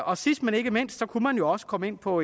og sidst men ikke mindst kunne man jo også komme ind på